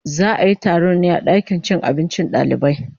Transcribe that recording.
Za a yi taron ne a dakin cin abincin dalibai